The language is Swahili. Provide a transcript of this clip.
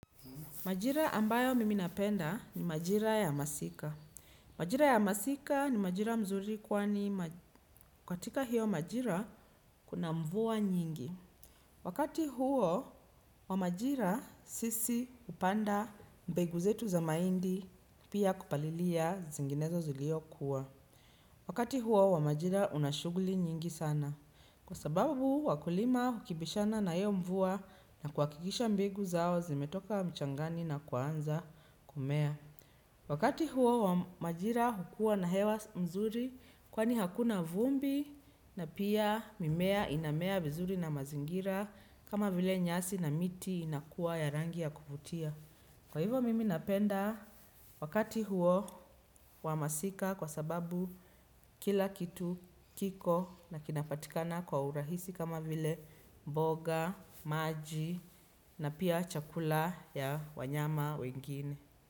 Majira ambayo miminapenda ni majira ya masika. Majira ya masika ni majira mzuri kwani katika hiyo majira kuna mvua nyingi. Wakati huo wa majira sisi hupanda mbegu zetu za mahindi pia kupalilia zinginezo zilio kuwa. Wakati huo wa majira una shughuli nyingi sana kwa sababu wakulima hukipishana na hiyo mvua na kuhakikisha mbegu zao zimetoka mchangani na kuanza kumea. Wakati huo wa majira hukua na hewa nzuri kwani hakuna vumbi na pia mimea inamea vizuri na mazingira kama vile nyasi na miti inakuwa ya rangi ya kuvutia. Kwa hivo mimi napenda wakati huo wa masika kwa sababu kila kitu kiko na kinapatikana kwa urahisi kama vile mboga, maji na pia chakula ya wanyama wengine.